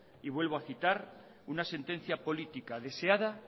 y vuelvo a citar una sentencia política deseada